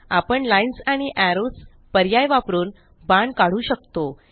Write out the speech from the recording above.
आपणLines आणि एरोज पर्याय वापरून बाण काढू शकतो